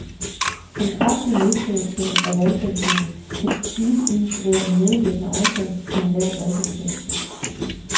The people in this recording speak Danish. Den kraftige nedprioritering af valgdækningen vil givetvis være en medvirkende årsag til en lav valgdeltagelse.